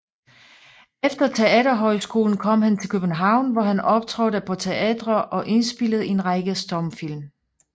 Efter teaterhøjskolen kom han til København hvor han optrådte på teatre og indspillede en række stumfilm